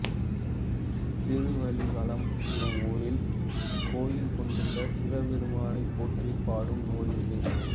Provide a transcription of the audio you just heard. திருவலிவலம் என்னும் ஊரில் கோயில் கொண்டுள்ள சிவபெருமானைப் போற்றிப் பாடும் நூல் இது